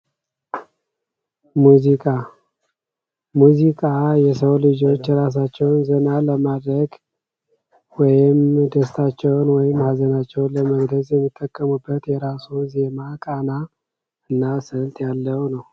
ሙዚቃ የሰው ልጆች ራሳቸውን ዘና ለማድረግ ወይም ደስታቸውን ወይም ሃዘናቸውን ለመግለጽ የሚጠቀሙበት የራሱ ዜማ እና ቃና ስልት ያለው ነው።